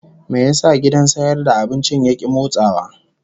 Me yasa gidan sayar da abincin ya ki motsawa?